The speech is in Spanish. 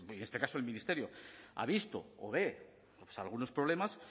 en este caso el ministerio ha visto o ve algunos problemas